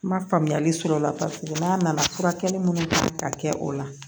N ma faamuyali sɔrɔ o la paseke n'a nana furakɛli minnu kɛ ka kɛ o la